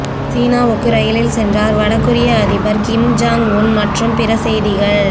சீனாவுக்கு ரயிலில் சென்றார் வட கொரிய அதிபர் கிம் ஜாங் உன் மற்றும் பிற செய்திகள்